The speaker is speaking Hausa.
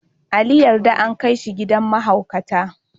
Ali yarda an kai shi gidan mahaukata.